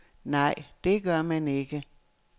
Nej, det gør man ikke.